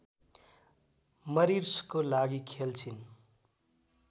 मरिर्सको लागि खेल्छिन्